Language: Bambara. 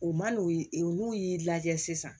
U man'o ye n'u y'i lajɛ sisan